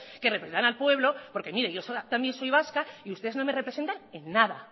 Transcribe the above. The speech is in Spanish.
que representan al pueblo porque mire yo también soy vasca y ustedes no me representan en nada